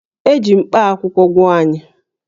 E ji mkpakwụkwọ gwọọ anyị